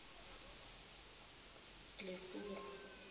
lefuru